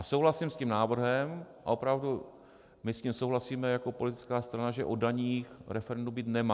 A souhlasím s tím návrhem a opravdu, my s tím souhlasíme jako politická strana, že o daních referendum být nemá.